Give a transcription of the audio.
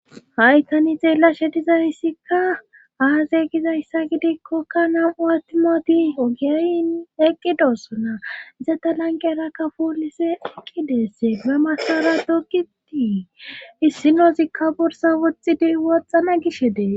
Hay tani xeellashe dizayssikka aaze gizayssa gidikkokka nam7u attimoti ogiyayn eqqidossona zeta lanqera kafulise eqqi deesse ba masara dogitii issinozikka borsa woxxidi woxxana gish dees.